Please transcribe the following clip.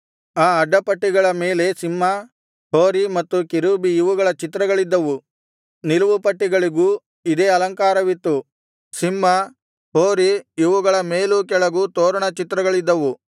ಆ ಅಡ್ಡಪಟ್ಟಿಗಳ ಮೇಲೆ ಸಿಂಹ ಹೋರಿ ಮತ್ತು ಕೆರೂಬಿ ಇವುಗಳ ಚಿತ್ರಗಳಿದ್ದವು ನಿಲುವುಪಟ್ಟಿಗಳಿಗೂ ಇದೇ ಅಲಂಕಾರವಿತ್ತು ಸಿಂಹ ಹೋರಿ ಇವುಗಳ ಮೇಲೂ ಕೆಳಗೂ ತೋರಣ ಚಿತ್ರಗಳಿದ್ದವು